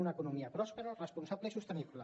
una economia pròspera responsable i sostenible